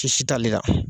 Sisi t'ale la